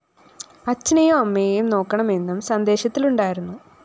അചഛനെയും അമ്മയെയും നോക്കണമെന്നും സന്ദേശത്തിലുണ്ടായിരുന്നു